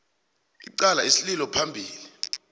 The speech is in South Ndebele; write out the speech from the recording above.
icala isililo phambili